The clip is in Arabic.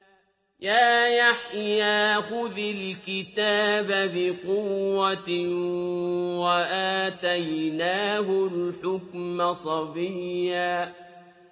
يَا يَحْيَىٰ خُذِ الْكِتَابَ بِقُوَّةٍ ۖ وَآتَيْنَاهُ الْحُكْمَ صَبِيًّا